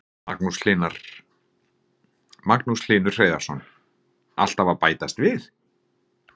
Magnús Hlynur Hreiðarsson: Alltaf að bætast við?